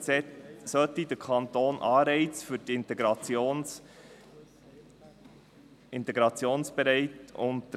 Entsprechend solle der Kanton Anreize für die Integrationsbereiten schaffen.